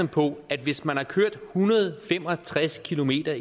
på at hvis man har kørt en hundrede og fem og tres kilometer